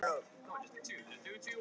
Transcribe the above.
Við kvöddum hann.